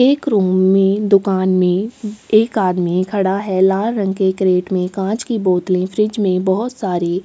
एक रूम में दूकान में एक आदमी खड़ा है लाल रंग के कैरेट कांच की बोतले फ्रिज में बहोत सारी --